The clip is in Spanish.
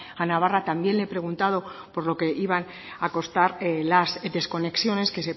a navarra también le he preguntado por lo que iban a costar las desconexiones que